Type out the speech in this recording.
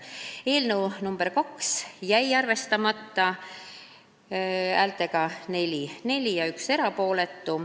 Muudatusettepanek nr 2 jäi arvestamata: 4 poolt, 4 vastu, 1 erapooletu.